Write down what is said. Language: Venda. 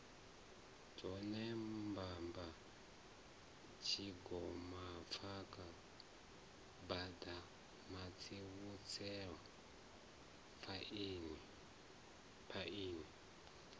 dzone mbamba tshigompfana baḓamandiusetshe phaini